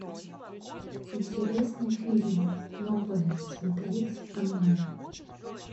интересный фильм новое смотреть онлайн